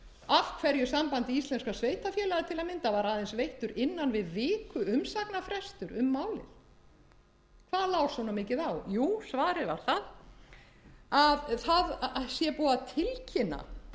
af hverju sambandi íslenskum sveitarfélaga til að mynda var aðeins veittur innan við vikuumsagnarfrestur um málið hvað lá svona mikið á jú svarið var það að búið sé að tilkynna